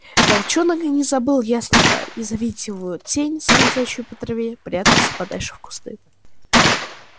волчонок и не забыл ястреба и завидеть его тень скользящую по траве прятался подальше в кусты